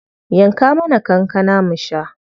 Yanka mana kankana mu sha.